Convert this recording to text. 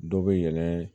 Dɔ bɛ yɛlɛn